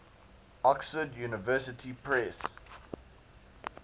oxford university press